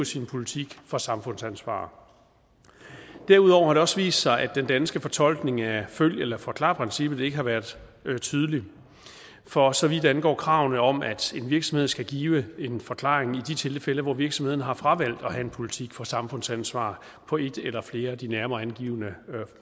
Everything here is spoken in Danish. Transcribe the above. sin politik for samfundsansvar derudover har det også vist sig at den danske fortolkning af følg eller forklar princippet ikke har været tydelig for så vidt angår kravene om at en virksomhed skal give en forklaring i de tilfælde hvor virksomhederne har fravalgt at have en politik for samfundsansvar på et eller flere af de nærmere angivne